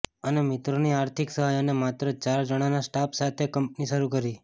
અને મિત્રોની આર્થિક સહાય અને માત્ર ચાર જણાના સ્ટાફ સાથે કંપની શરૂ કરી